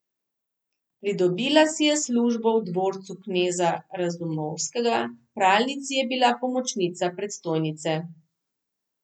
Pridobila si je službo v dvorcu kneza Razumovskega, v pralnici je bila pomočnica predstojnice.